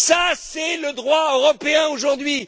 eux. Ça, c'est le droit européen aujourd'hui.